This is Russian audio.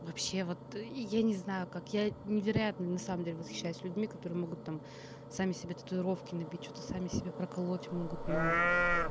вообще вот я не знаю как я невероятный на самом деле восхищаюсь людьми которые могут там сами себе татуировки набить что-то сами себе проколоть могут но